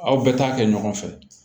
Aw bɛɛ t'a kɛ ɲɔgɔn fɛ